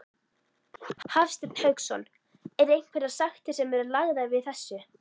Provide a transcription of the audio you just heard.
Hafsteinn Hauksson: Er einhverjar sektir sem eru lagðar við þessu?